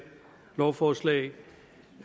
lovforslag